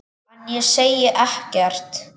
En ég segi ekkert.